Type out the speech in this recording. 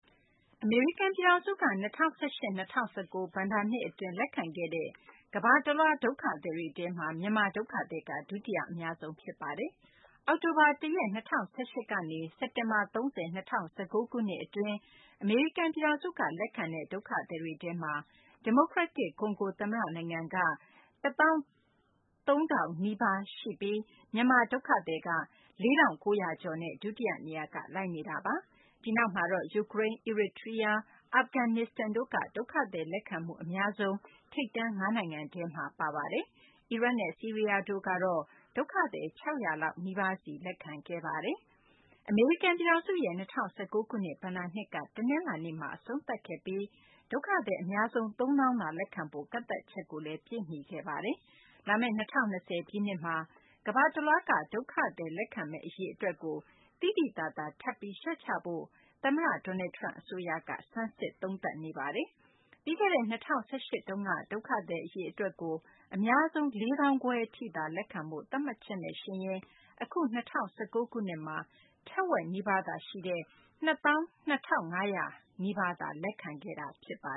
အမေရိကန် ပြည်ထောင်စုက ၂၀၁၈ - ၂၀၁၉ ဘဏ္ဍာနှစ် အတွင်း လက်ခံခဲ့တဲ့ ကမ္ဘာတလွှားက ဒုက္ခသည်တွေထဲမှာ မြန်မာ ဒုက္ခသည်က ဒုယတိ အများဆုံး ဖြစ်ပါတယ်။ အောက်တိုဘာလ ၁ ရက် ၂၀၁၈ ခုနှစ်ကနေ စက်တင်ဘာလ ၃၀ ၂၀၁၉ ခုနှစ် အတွင်း အမေရိကန် ပြည်ထောင်စုက လက်ခံခဲ့တဲ့ ဒုက္ခသည်တွေထဲမှာ ဒီမိုကရက်တစ် ကွန်ဂို သမ္မတ နိုင်ငံက ဒုက္ခသည် ၁၃၀၀၀ နီးပါးကို လက်ခံခဲ့ပြီး မြန်မာ ဒုက္ခသည်က ၄၉၃၂ ဦးနဲ့ ဒုတိယ နေရာက လိုက်နေတာပါ။ ဒီနောက်မှာတော့ ယူကရိန်း၊ အီရီတြီးယား၊ အာဖဂန်နစ္စတန်တို့က ဒုက္ခသည် လက်ခံမှု အများဆုံး ထိပ်တန်း ၅ နိုင်ငံထဲမှာ ပါဝင်ခဲ့ပါတယ်။ အီရတ်နဲ့ ဆီးရီးယားတို့ကတော့ ဒုက္ခသည် ၆၀၀ လောက် နီးပါးစီ လက်ခံခဲ့ပါတယ်။ အမေရိကန် ပြည်ထောင်စုရဲ့ ၂၀၁၉ ခုနှစ် ဘဏ္ဍာနှစ်က တနလာၤနေ့မှာ အဆုံးသတ်ခဲ့ပြီး ဒုက္ခသည် အများဆုံး ၃၀၀၀၀ သာ လက်ခံဖို့ ကန့်သတ်ချက်လည်း ပြည့်မီခဲ့ပါတယ်။ လာမယ့် ၂၀၂၀ ပြည့်နှစ်မှာလည်း ကမ္ဘာတလွှားက ဒုက္ခသည်တွေ လက်ခံမယ့် အရေအတွက်ကို သိသိသာသာ ထပ်ပြီး လျှော့ချဖို့ သမ္မတ Donald Trump အစိုးရက ဆန်းစစ်နေပါတယ်။ ပြီးခဲ့တဲ့ ၂၀၁၈ တုန်းကတော့ ဒုက္ခသည် အရေအတွက်ကို အများဆုံး ၄၅၀၀၀ ထိသာ လက်ခံဖို့ သတ်မှတ်ချက်နဲ့ယှဉ်ရင်တော့ အခု ၂၀၁၉ ခုနှစ်မှ ထက်ဝက်နီးပါးသာ ရှိတဲ့ ၂၂၄၉၁ ဦးသာ လက်ခံခဲ့တာပါ